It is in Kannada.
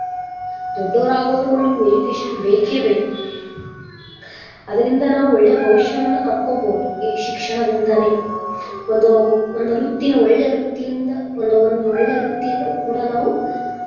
ದೊಡ್ಡೋರಾಗೋವರ್ಗು ನಮಗ education ಬೇಕೇ ಬೇಕ ಅದರಿಂದ ನಾವ ಒಳ್ಳೆ ಭವಿಷ್ಯವನ್ನ ಕಟ್ಕೋ ಬಹುದು ಈ ಶಿಕ್ಷಣದಿಂತನೇ ಒಂದು ವೃತ್ತಿನ ಒಳ್ಳೆ ವೃತ್ತಿಯಿಂದ ಒಂದ ಒಂದ ಒಳ್ಳೆ ವೃತ್ತಿಯನ್ನ ಕೂಡಾ ನಾವು.